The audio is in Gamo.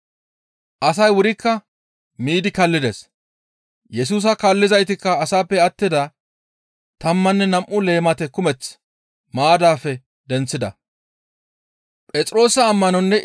Asay wurikka miidi kaallides. Yesusa kaallizaytikka asaappe attida tammanne nam7u leemate kumeth maaddaafe denththida.